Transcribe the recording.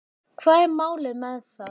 Hvað var málið með það?